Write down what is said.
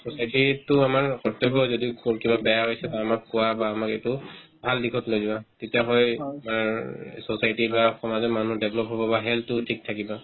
society তিততো আমাৰ প্ৰত্যেকৰ যদি কিবা বেয়া পাইছা হয় মোক বা মোক এইটো ভাল দিশত লৈ যোৱা তেতিয়াহ'লে মানে অ society বা সমাজৰ মানুহ develop হ'ব বা health তো ঠিক থাকিব